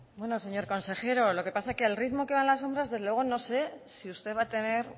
bueno señor consejero lo que pasa que al ritmo que van las obras desde luego no sé si usted va a tener